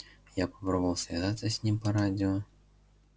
я попробовал связаться с ним по радио